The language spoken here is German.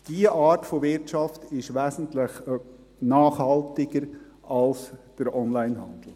: Diese Art von Wirtschaft ist wesentlich nachhaltiger als der Onlinehandel.